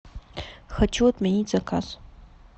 хочу отменить заказ